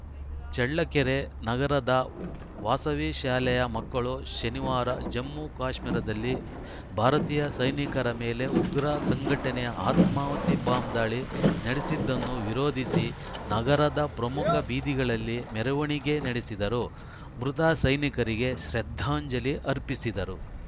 ಚಳ್ಳಕೆರೆ ನಗರದ ವಾಸವಿ ಶಾಲೆಯ ಮಕ್ಕಳು ಶನಿವಾರ ಜಮ್ಮು ಕಾಶ್ಮೀರದಲ್ಲಿ ಭಾರತೀಯ ಸೈನಿಕರ ಮೇಲೆ ಉಗ್ರ ಸಂಘಟನೆ ಆತ್ಮಾಹುತಿ ಬಾಂಬ್‌ ದಾಳಿ ನಡೆಸಿದ್ದನ್ನು ವಿರೋಧಿಸಿ ನಗರದ ಪ್ರಮುಖ ಬೀದಿಗಳಲ್ಲಿ ಮೆರವಣಿಗೆ ನಡೆಸಿದರು ಮೃತ ಸೈನಿಕರಿಗೆ ಶ್ರದ್ಧಾಂಜಲಿ ಅರ್ಪಿಸಿದರು